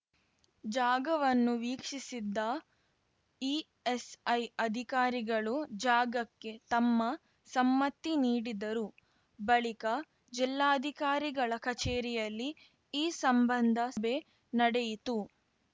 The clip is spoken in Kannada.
ಜಾಗವನ್ನು ವೀಕ್ಷಿಸಿದ್ದ ಇಎಸ್‌ಐ ಅಧಿಕಾರಿಗಳು ಜಾಗಕ್ಕೆ ತಮ್ಮ ಸಮ್ಮತಿ ನೀಡಿದರು ಬಳಿಕ ಜಿಲ್ಲಾಧಿಕಾರಿಗಳ ಕಚೇರಿಯಲ್ಲಿ ಈ ಸಂಬಂಧ ಸಭೆ ನಡೆಯಿತು